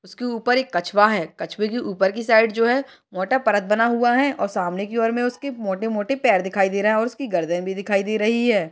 उसके ऊपर एक कछुआ है कछुए की ऊपर की साइड जो है मोटा परत बना हुआ है और सामने की और में उसके मोटे मोटे पैर दिखाई दे रहे है उसकी गर्दन भी दिखाई दे रही है।